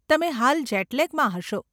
તમે હાલ જેટ લેગમાં હશો.